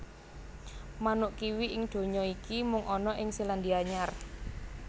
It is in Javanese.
Manuk kiwi ing donya iki mung ana ing Selandia Anyar